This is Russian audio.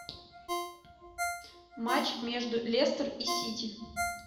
матч между лестер и сити